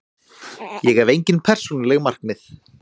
Ég hef engin persónuleg markmið.